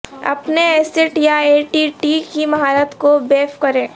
اپنے ایسیٹ یا A T T کی مہارت کو بیف کریں